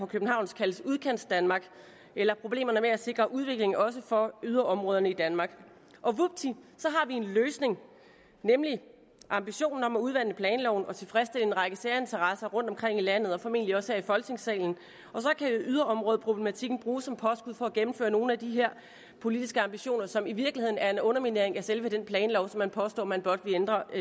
københavn kaldes udkantsdanmark eller problemerne med at sikre udvikling også for yderområderne i danmark og vupti så har vi en løsning nemlig ambitionen om at udvande planloven og tilfredsstille en række særinteresser rundtomkring i landet og formentlig også her i folketingssalen og så kan yderområdeproblematikken bruges som påskud for at gennemføre nogle af de her politiske ambitioner som i virkeligheden er en underminering af selve den planlov som man påstår man blot vil ændre